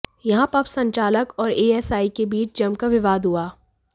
यहां पब संचालक और एएसआई के बीच जमकर विवाद हुआ